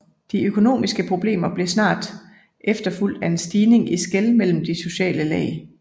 De økonomiske problemer blev snart efterfulgt af en stigning i skel mellem de sociale lag